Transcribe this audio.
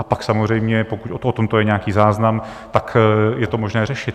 A pak samozřejmě, pokud o tomto je nějaký záznam, tak je to možné řešit.